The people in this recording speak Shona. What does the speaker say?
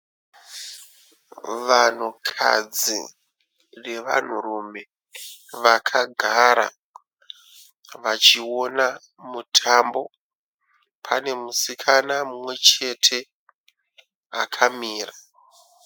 Vanhukadzi nevanhurume vakagara vachiona mutambo. Pane musikana mumwechete akamira.